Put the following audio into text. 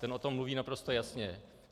Ten o tom mluví naprosto jasně.